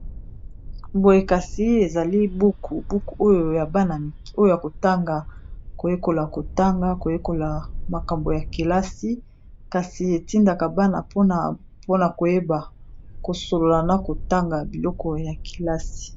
Boye kasi ezali buku buku oyo ya bana oyo ya kotanga koyekola kotanga, koyekola makambo ya kelasi kasi etindaka bana mpona koyeba kosolola na kotanga biloko ya kelasi.